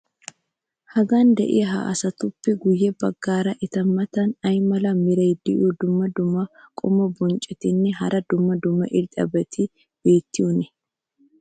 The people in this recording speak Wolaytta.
hagan diya ha asatuppe guye bagaara eta matan ay mala meray diyo dumma dumma qommo bonccotinne hara dumma dumma irxxabati beetiyoonaa?